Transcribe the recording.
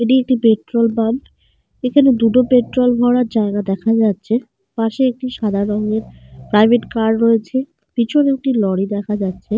এটি একটি petrol pump. এখানে দুটো পেট্রোল ভরার জায়গা দেখা যাচ্ছে। পাশে একটি সাদা রঙের প্রাইভেট কার রয়েছে। পিছনে একটি লরি দেখা যাচ্ছে।